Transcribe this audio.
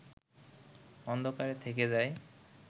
অন্ধকারে থেকে যায়